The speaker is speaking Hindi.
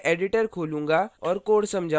अतः मैं editor खोलूँगा और code समझाऊँगा